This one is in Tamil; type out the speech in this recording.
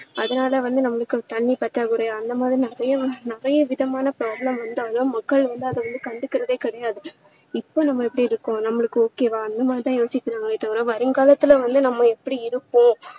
அதனால வந்து நம்மளுக்கு தண்ணீர் பற்றாக்குறை அந்த மாதிரி நிறைய நிறைய விதமான problem வந்து அதெல்லாம் மக்கள் வந்து அதை வந்து கண்டுக்குறதே கிடையாது இப்போ நம்ம எப்படி இருக்கோம் நம்மளுக்கு okay வா அந்த மாதிரி யோசிக்கிறாங்களே தவிர வருங்காலத்துல வந்து நம்ம எப்படி இருப்போம்